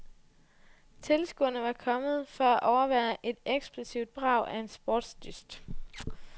Tilskuerne var kommet for at overvære et eksplosivt brag af en sportsdyst.